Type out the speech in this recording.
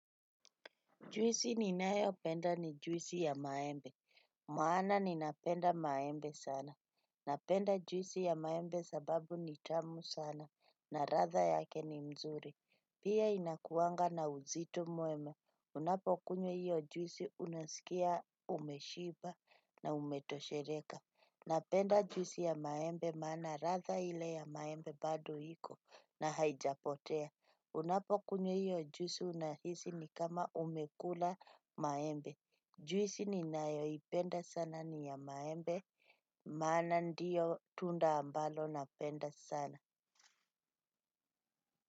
Juisi ninayopenda ni juisi ya maembe. Maana ninapenda maembe sana. Napenda juisi ya maembe sababu ni tamu sana. Na ladha yake ni mzuri. Pia inakuanga na uzito mwema. Unapokunywa hiyo juisi unasikia umeshiba na umetosheleka. Napenda juisi ya maembe maana ladha ile ya maembe bado iko na haijapotea. Unapokunywa hiyo juisi unahisi ni kama umekula maembe. Juisi ninayoipenda sana ni ya maembe. Maana ndiyo tunda ambalo napenda sana.